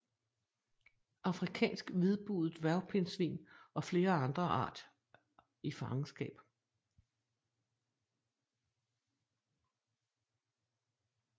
Afrikansk hvidbuget dværgpindsvin og flere andre art i fangenskab